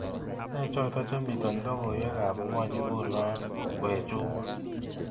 Ne choto chemiten logoywekab ngony nguno we chumo